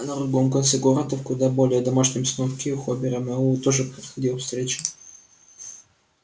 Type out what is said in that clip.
а на другом конце города в куда более домашней обстановке у хобера мэллоу тоже проходила встреча